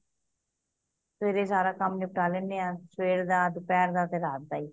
ਸਵੇਰੇ ਸਾਰਾ ਕੰਮ ਨਿਪਟਾ ਲੈਂਦੇ ਆ ਸਵੇਰ ਦਾ ਦੁਪਹਿਰ ਦਾ ਤੇ ਰਾਤ ਦਾਈ